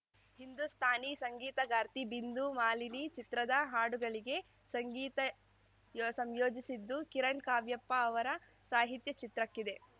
ಹಿಂದೂಸ್ಥಾನಿ ಸಂಗೀತಗಾರ್ತಿ ಬಿಂದು ಮಾಲಿನಿ ಚಿತ್ರದ ಹಾಡುಗಳಿಗೆ ಸಂಗೀತ ಸಂಯೋಜಿಸಿದ್ದು ಕಿರಣ್‌ ಕಾವ್ಯಪ್ಪ ಅವರ ಸಾಹಿತ್ಯ ಚಿತ್ರಕ್ಕಿದೆ